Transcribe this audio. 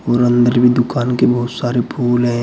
और अंदर भी दुकान के बहुत सारे फूल हैं।